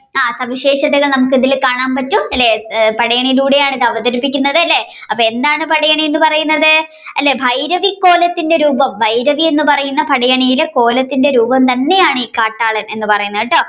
സവിശേഷതകൾ നമ്മുക്ക് ഇതിൽ കാണാൻ പറ്റും അല്ലെ പടയണിയിലൂടെയാണ് ഇത് അവതരിപ്പുക്കുന്നത് അല്ലെ അപ്പൊ എന്താണ് പടയണി എന്ന് പറയുന്നത് ഭൈരവിക്കോലത്തിന്റെ രൂപം ഭൈരവി എന്ന് പറയുന്ന പടയണിയുടെ കോലത്തിന്റെ രൂപം തന്നെയാണ് ഈ കാട്ടാളൻ എന്ന് പറയുന്നത് കേട്ടോ